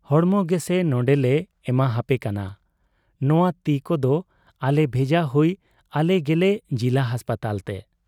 ᱦᱚᱲᱢᱚ ᱜᱮᱥᱮ ᱱᱚᱰᱮᱞᱮ ᱮᱢᱟᱦᱟᱯᱮ ᱠᱟᱱᱟ , ᱱᱚᱶᱟ ᱛᱤ ᱠᱚᱫᱚ ᱟᱞᱮ ᱵᱷᱮᱡᱟ ᱦᱩᱭ ᱟᱞᱮ ᱜᱮᱞᱮ ᱡᱤᱞᱟ ᱦᱟᱥᱯᱟᱛᱟᱞᱛᱮ ᱾